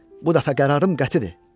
Bu dəfə qərarım qətidir.